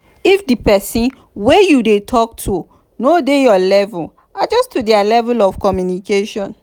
if di person wey you dey talk to no dey your level adjust to their level of communication